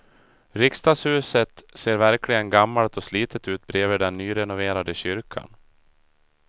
Riksdagshuset ser verkligen gammalt och slitet ut bredvid den nyrenoverade kyrkan.